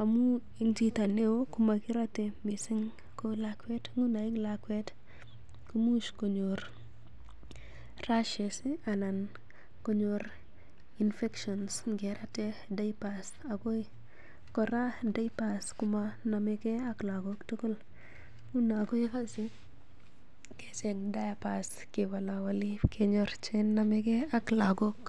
amun en chito neo komakirote mising, nguno lakwet komuch konyor rashes v anan konyor infections ngeraten diapers agoi kora diapers kamanomekei ak lagok tugul. Nguno koyoche kecheng diapers kewolowoli kenyor che nomege ak lagok.